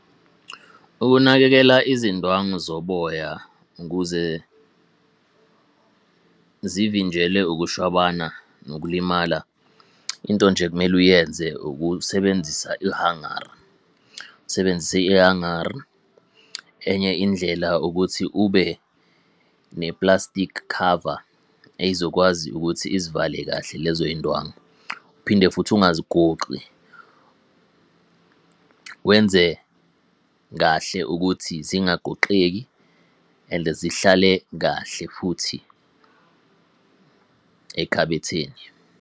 Ukunakekela izindwangu zoboya ukuze zivinjelwe ukushwabana nokulimala, into nje ekumele uyenze ukusebenzisa ihangara usebenzise ihangara. Enye indlela ukuthi ube neplastikhi khava, ey'zokwazi ukuthi izivale kahle lezoy'ndwangu, uphinde futhi ungazigoqi. Wenze kahle ukuthi zingagoqeki and zihlale kahle futhi ekhabetheni.